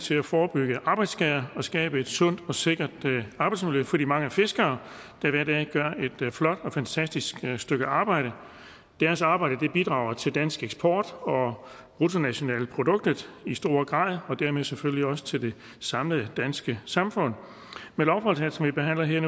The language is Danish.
til at forebygge arbejdsskader og skabe et sundt og sikkert arbejdsmiljø for de mange fiskere der hver dag gør et flot og fantastisk stykke arbejde deres arbejde bidrager til dansk eksport og bruttonationalproduktet i stor grad og dermed selvfølgelig også til det samlede danske samfund med lovforslaget som vi behandler her i